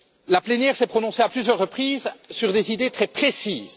la plénière s'est prononcée à plusieurs reprises sur des idées très précises.